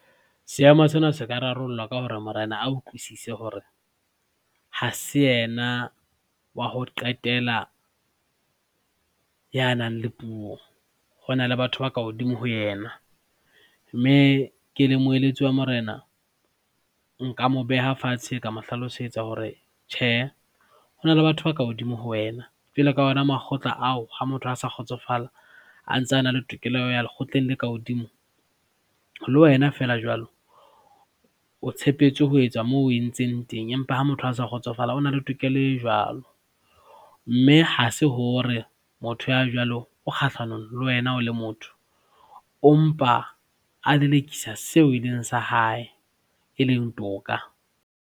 Seemo sena se ka rarollwa ka hore Morena a utlwisise hore ha se yena wa ho qetela ya nang le puo hona le batho ba ka hodimo ho yena, mme ke le moeletsi wa Morena nka mo beha fatshe ka mo hlalosetsa hore tjhehe hona le batho ba ka hodimo ho wena. Jwale ka ona makgotla ao, ha motho a sa kgotsofala a ntsa na le tokelo ya ho ya lekgotleng la ka hodimo. Le wena feela jwalo, o tshepetswe ho etsa moo o entseng teng, empa ha motho a sa kgotsofala, o na le tokelo e jwalo mme ha se hore motho ya jwalo o kgahlanong le wena o le motho o empa a lelekisa seo e leng sa hae, e leng toka.